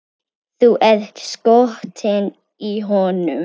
Þú ert skotin í honum!